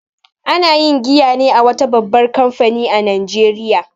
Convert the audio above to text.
Ana yin giya ne a wata babbar kamfani a Najeriya